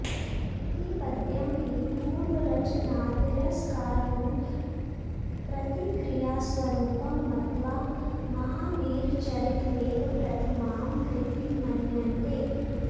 इति पद्यं हि पूर्वरचनातिरस्कारुप्रतिक्रियास्वरूपं मत्वा महावीरचरितमेव प्रथमां कृति मन्यन्ते